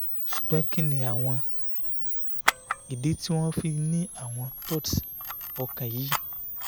sugbon kini awon idi ti mo fi n ni awon thuds okan yi?